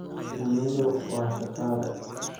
Shinnidu waa shaqaale.